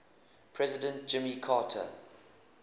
president jimmy carter